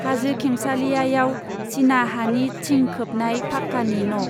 हाजो खेंसालिया याव चीना हानि थिं खोबनाय फाक्कानि न'।